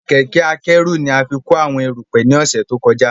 Kẹ̀kẹ́ akẹ́rù ni a fí kó àwọn erùpẹ̀ ni ọ̀sẹ̀ tó kọjá